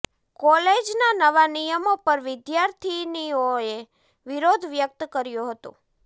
કોલેજના નવા નિયમો પર વિદ્યાર્થીનીઓએ વિરોધ વ્યક્ત કર્યો હતો